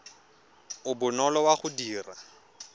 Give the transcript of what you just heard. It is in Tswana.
o bonolo wa go dira